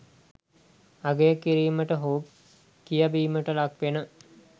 අගය කිරීමට හෝ කියවීමට ලක් වෙන